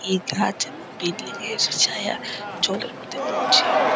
এ ঘাট এবং পেটি দিয়ে সু ছায়া জলের মধ্যে পড়ছে এবং--